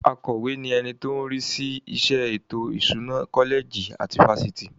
Akọ̀we ni ẹni tó ń rí sí iṣẹ́ ètò ìṣúná kọ́lẹ̀jì tàbí fáfitì.